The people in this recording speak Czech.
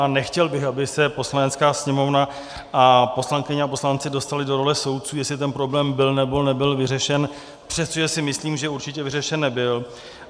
A nechtěl bych, aby se Poslanecká sněmovna a poslankyně a poslanci dostali do role soudců, jestli ten problém byl nebo nebyl vyřešen, přestože si myslím, že určitě vyřešen nebyl.